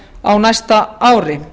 á næsta ári